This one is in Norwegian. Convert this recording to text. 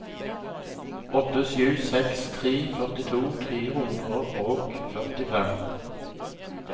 åtte sju seks tre førtito tre hundre og førtifem